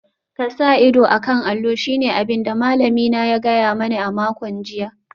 Ka sa ido a kan allo shine abin da malamina ya gaya mani a makon jiya